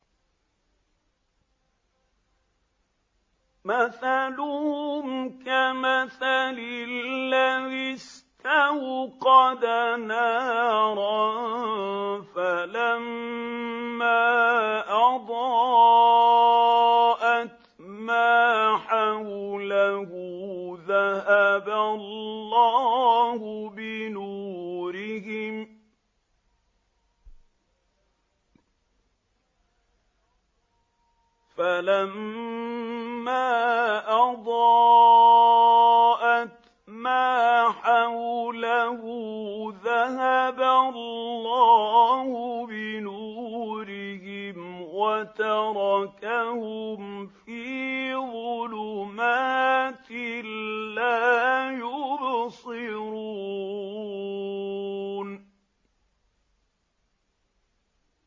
مَثَلُهُمْ كَمَثَلِ الَّذِي اسْتَوْقَدَ نَارًا فَلَمَّا أَضَاءَتْ مَا حَوْلَهُ ذَهَبَ اللَّهُ بِنُورِهِمْ وَتَرَكَهُمْ فِي ظُلُمَاتٍ لَّا يُبْصِرُونَ